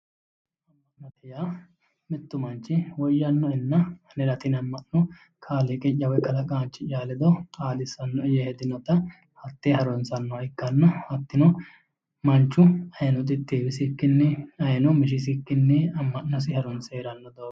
Ama'note yaa mitu manchi anera tini ama'no kaaliqiya woyi kalaqaanchiya ledo xaadisanoe yee hedinotta hate harunsanoha ikkanna hatino manchu Heewisikkinni ayeeno mishisikkinni ama'nosi harunse heerano doogo